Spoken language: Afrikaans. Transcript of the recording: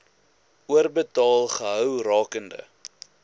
oorbetaal gehou rakende